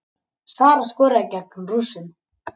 Sara skoraði gegn Rússunum